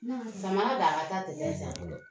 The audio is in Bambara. dama dama ta tɛ